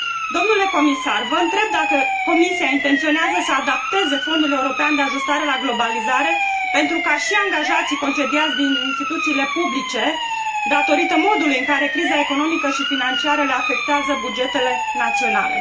Domnule comisar, vă întreb dacă Comisia intenționează să adapteze Fondul european de ajustare la globalizare pentru a sprijini și angajații concediați din instituțiile publice datorită modului în care criza economică și financiară afectează bugetele naționale.